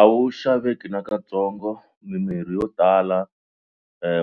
A wu xaveki nakatsongo mimirhi yo tala